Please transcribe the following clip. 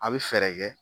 A bɛ fɛɛrɛ kɛ